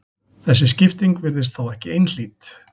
Þessi skipting virðist þó ekki einhlít.